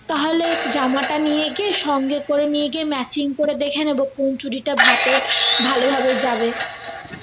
তাহলে জামাটা নিয়ে গিয়ে সঙ্গে করে নিয়ে গিয়ে matching করে দেখে নেব কোন চুড়িটা হাতে ভালো ভাবে যাবে